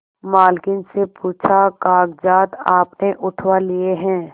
मालकिन से पूछाकागजात आपने उठवा लिए हैं